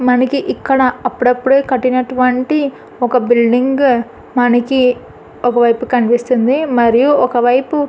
మనకు ఇక్కడ అప్పుడప్పుడు కట్టినటివంటి ఒక బిల్డింగ్ మనకు ఒకవైపు కనిపిస్తుంది మరియు ఒకవైపు--